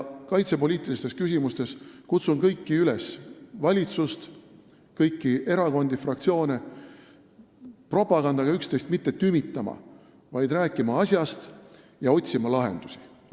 Kaitsepoliitilistes küsimustes kutsun üles kõiki – valitsust, erakondi ja fraktsioone – mitte propagandaga üksteist tümitama, vaid rääkima asjast ja otsima lahendusi.